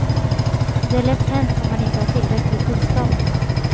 Det är lätt hänt om man inte har tillräcklig kunskap.